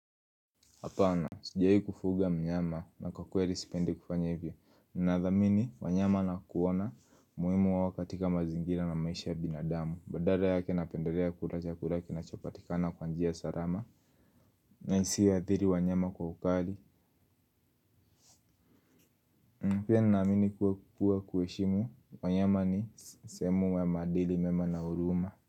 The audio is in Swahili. Hapana, sijai kufuga mnyama na kwa kweli sipendi kufanya hivyo. Nadhamini wanyama na kuona muhimu wao katika mazingira na maisha ya binadamu. Badala yake napendelea kula chakula kinacho patikana kwa njia salama. Na isiyo athiri wanyama kwa ukali. Pia nina amini kuwa kuheshimu wanyama ni sehemu ya madili mema na huruma.